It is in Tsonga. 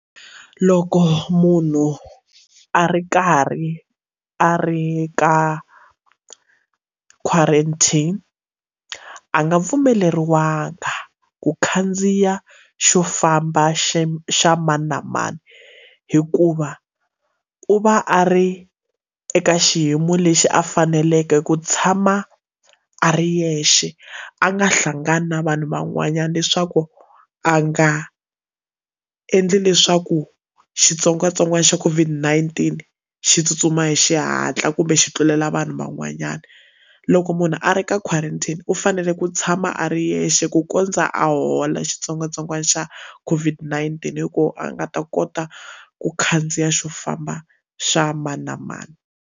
Loko munhu a ri karhi a ri ka quarantine a nga pfumeleriwangi ku khandziya xo famba xa xa mani na mani hikuva u va a ri eka xiyimo lexi a faneleke ku tshama a ri yexe a nga hlangani na vanhu van'wanyana leswaku a nga endli leswaku xitsongwatsongwana xa COVID-19 xi tsutsuma hi xihatla kumbe xi tlulela vanhu van'wanyana loko munhu a ri ka quarantine u fanele ku tshama a ri yexe ku kondza a hola xitsongwatsongwana xa COVID-19 hi kona a nga ta kota ku khandziya xo famba xa mani na mani.